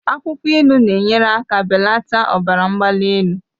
Akwụkwọ ilu na-enyere aka belata ọbara mgbali elu.